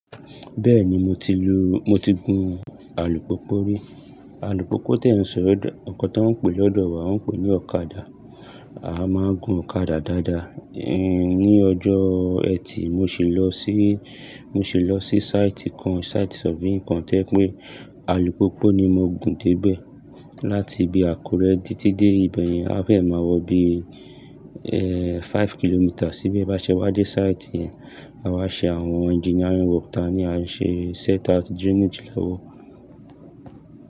Bẹ́ẹ̀ni mo ti lu, mo ti gun alùpùpù rí. Alùpùpù tí à ń sọ, ǹnkan tí wọ́n ń pè lọ́dọ̀ wa wọ́n ń pè ní ọ̀kadà. A máa ń gun ọ̀kadà dáadáa. Nií ọjọ́ ẹtì mo sì lọ sí, mo sì lọ sí site kan, site surveying kan tí o jẹ pé alùpùpù ni mo gun dé bẹ. Láti bi Àkúrẹ́ títí dé ibẹ̀yẹn, á feẹ̀ ma wọ bí, five kilometres sí bẹ bá ṣe wá dé site yẹn, àwa ṣe àwọn engineering work tá a ni a ṣe set out drainage lọ́wọ́.